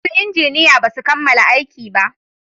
Su injiniya basu kammala aiki ba